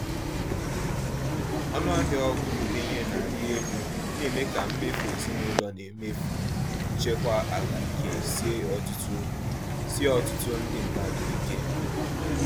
Ọnụahịa ọgwụ ndenye na-arị elu na-eme ka mmefu ezinaụlọ na mmefu nchekwa ahụike sie ọtụtụ sie ọtụtụ ndị mmadụ ike.